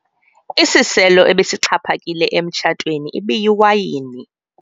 Isiselo ebesixhaphakile emtshatweni ibiyiwayini.